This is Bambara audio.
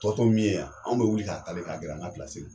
Tɔtɔ min ye yan anw be wuli k'a kale ka gɛrɛ an ka pilasi la